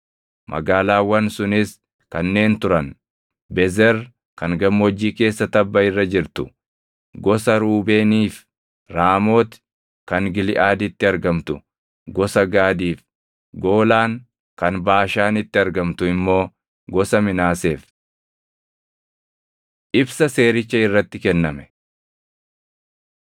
Magaalaawwan sunis kanneen turan: Bezer kan gammoojjii keessa tabba irra jirtu gosa Ruubeeniif, Raamooti kan Giliʼaaditti argamtu gosa Gaadiif, Goolaan kan Baashaanitti argamtu immoo gosa Minaaseef. Ibsa Seericha Irratti Kenname